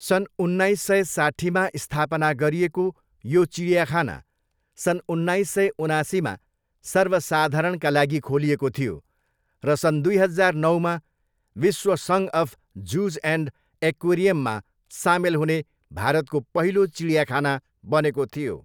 सन् उन्नाइस सय साट्ठीमा स्थापना गरिएको यो चिडियाखाना सन् उन्नाइस सय उनासीमा सर्वसाधारणका लागि खोलिएको थियो र सन् दुई हजार नौमा विश्व सङ्घ अफ जुज एन्ड एक्वेरियममा सामेल हुने भारतको पहिलो चिडियाखाना बनेको थियो।